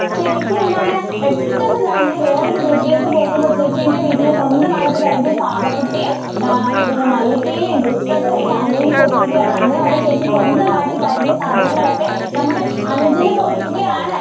ചേച്ചി എന്താണ് പെട്ടെന്ന് തന്നെ വേറെ ഒരു വീട്ടിലേക്ക് പോകുമ്പോൾ ചേച്ചിയുടെ വീട്ടിൽ സ്വന്തം ആയിട്ട് കരുതിയ പാവകുട്ടിയും പിന്നെ മയിൽ പീലി പുസ്തകം എല്ലാം അനിയന് കൊടുക്കുകയാണ്. അന്നേ വരെ ചേച്ചി സ്വന്തം ആയിട്ട് കരുതിയ സാധനങ്ങൾ ഒക്കെ നമ്മുടെ അനുജന് കൊടുക്കുകയാണ്.